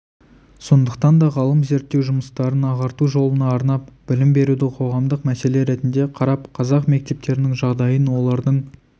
сондықтан да ғалым зерттеу жұмыстарын ағарту жолына арнап білім беруді қоғамдық мәселе ретінде қарап қазақ мектептерінің жағдайын олардың